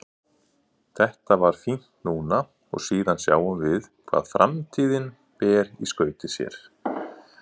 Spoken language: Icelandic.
Þetta var fínt núna og síðan sjáum við hvað framtíðin ber í skauti sér.